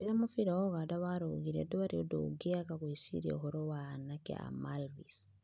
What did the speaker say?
"Rĩrĩa mũbira wa Ũganda warũgire, ndwarĩ ũndũ ũngĩaga gwĩciria ũhoro wa anake a Malvis."